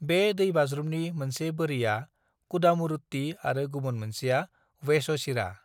बे दैबाज्रुमनि मोनसे बोरिया कुदामुरुट्टी आरो गुबुन मोनसेया वेच'चिरा।